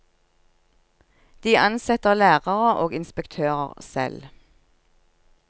De ansetter lærere og inspektører selv.